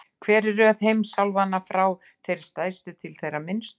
Hver er röð heimsálfanna, frá þeirri stærstu til þeirrar minnstu?